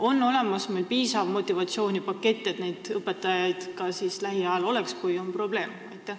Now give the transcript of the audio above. On meil olemas piisav motivatsioonipakett, et neid õpetajaid oleks ka siis lähiajal, kui on probleem?